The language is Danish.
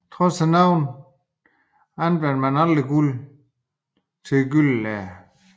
Trods navnet anvendte man aldrig guld på gyldenlæder